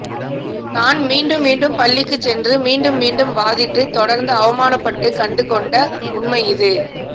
நான் மீண்டும் மீண்டும் பள்ளிக்குச் சென்று மீண்டும் மீண்டும் வாதிட்டு தொடர்ந்து அவமானப்பட்டு கண்டுகொண்ட உண்மை இது